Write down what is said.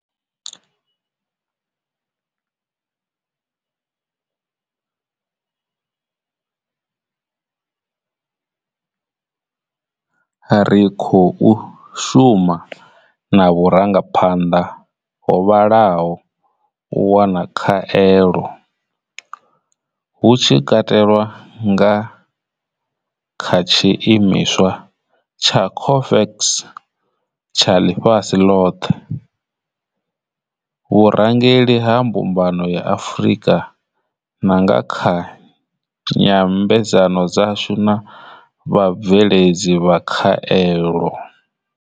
Ri khou shuma na vhu rangaphanḓa ho vhalaho u wana khaelo, hu tshi katelwa nga kha tshi imiswa tsha COVAX tsha ḽifhasi ḽoṱhe, vhurangeli ha mbumbano ya Afrika na nga kha nyambedzano dzashu na vha bveledzi vha khaelo.